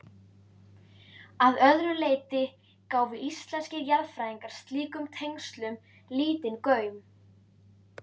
Að öðru leyti gáfu íslenskir jarðfræðingar slíkum tengslum lítinn gaum.